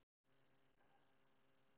Réttarhöld í risavöxnu fjársvikamáli